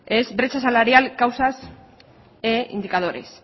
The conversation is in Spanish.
es brecha salarial causas e indicadores